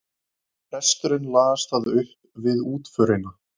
Presturinn las það upp við útförina.